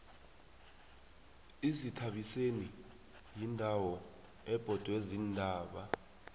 izithabiseni yindawo ebhodwe ziintaba